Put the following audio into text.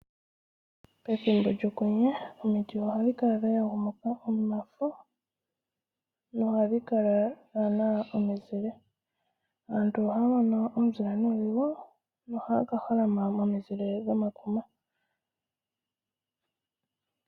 Pethimbo lyokwenye omiti ohadhi kala dha yagumuka omafo nohadhi kala dhaa na omizile. Aantu ohaa mono omuzile nuudhigu nohaya ka holama momizile dhomakuma.